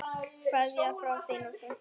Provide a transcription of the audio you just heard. Kveðja frá þinni frænku.